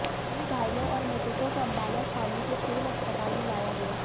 सभी घायलों और मृतकों को अम्बाला छावनी के सिविल अस्पताल में लाया गया